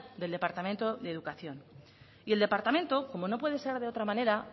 del departamento de educación y el departamento como no puede ser de otra manera